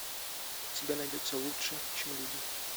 у тебя найдется лучше чем люди